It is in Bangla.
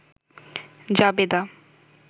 জাবেদা